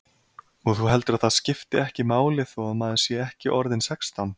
Og þú heldur að það skipti ekki máli þó að maður sé ekki orðinn sextán?